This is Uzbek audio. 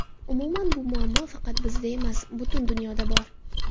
Umuman, bu muammo faqat bizda emas, butun dunyoda bor.